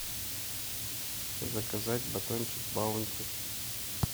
заказать батончик баунти